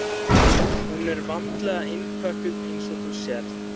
Hún er vandlega innpökkuð, eins og þú sérð.